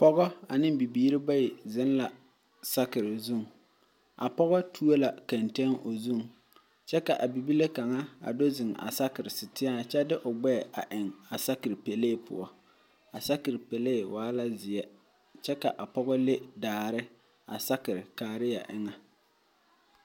Pɔgɔ ane bibiiri bayi zeŋ la sakiri zu, a pɔge tuo la kantenne o zʋŋ kyɛ ka a bibile kaŋa zeŋ a saakiri siiteɛ eŋɛ a kyɛ de o gbɛɛ eŋ a sakiri pelay poɔ a sakiri pelay waa la zeɛ kyɛ ka a pɔgɔ le daare a sakiri kaaria eŋɛ.